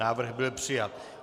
Návrh byl přijat.